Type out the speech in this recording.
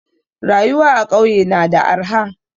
Rayuwa a kauye na da arha